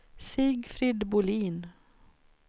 Sigfrid Bohlin